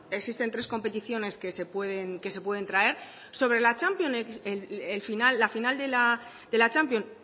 existen tres competiciones que se pueden traer sobre la champions la final de la champions